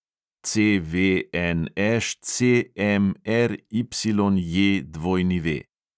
CVNŠCMRYJW